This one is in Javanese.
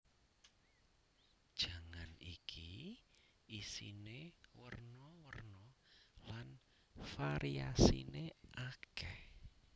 Jangan iki isine werna werna lan variasine akeh